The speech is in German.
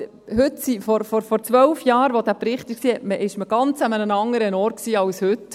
Vor 12 Jahren, als es diesen Bericht gab, stand man an einem ganz anderen Ort als heute.